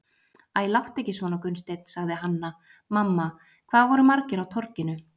Æ, láttu ekki svona Gunnsteinn, sagði Hanna-Mamma,- hvað voru margir á Torginu?